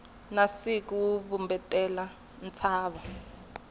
na siku wu vumbetela ntshava